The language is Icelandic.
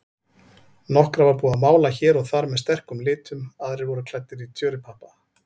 Nokkra var búið að mála hér og þar með sterkum litum, aðrir voru klæddir tjörupappa.